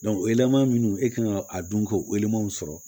minnu e kan ka a dun ko walemanw sɔrɔ